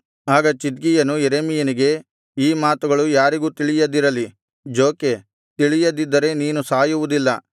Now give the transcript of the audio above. ಆಗ ಚಿದ್ಕೀಯನು ಯೆರೆಮೀಯನಿಗೆ ಈ ಮಾತುಗಳು ಯಾರಿಗೂ ತಿಳಿಯದಿರಲಿ ಜೋಕೆ ತಿಳಿಯದಿದ್ದರೆ ನೀನು ಸಾಯುವುದಿಲ್ಲ